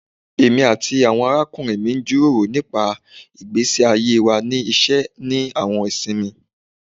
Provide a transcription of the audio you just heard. Emi ati awọn arakunrin mi jiroro nipa igbesi aye wa ni iṣẹ ni awọn isinmi